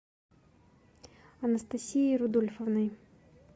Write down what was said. анастасией рудольфовной